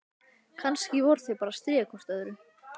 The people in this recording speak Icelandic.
Kannski voru þau bara að stríða hvort öðru.